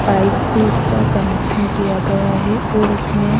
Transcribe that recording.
pipe से इसका connection किया गया है और इसमें--